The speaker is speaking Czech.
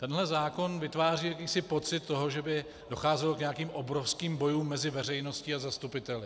Tenhle zákon vytváří jakýsi pocit toho, že by docházelo k nějakým obrovským bojům mezi veřejností a zastupiteli.